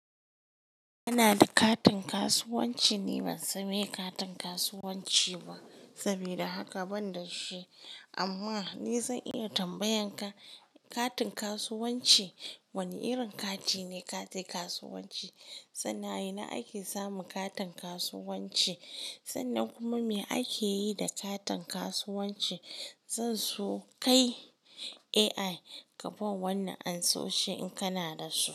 Ana da katin kasuwanci. Ni ban sani katin kasuwanci ba. Sabida haka ban da shi. Amma ni zan iya tambayan ka katin kasuwanci wane irin kati ne katin kasuwanci? Sannan a ina ake samu katin kasuwanci. Sannan kuma me ake yi da katin kasuwanci? Zan so kai AI kaban wannan anso shin in kana da su.